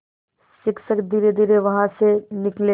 शिक्षक धीरेधीरे वहाँ से निकले